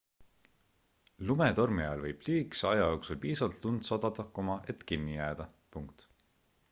lumetormi ajal võib lühikese aja jooksul piisavalt lund sadada et kinni jääda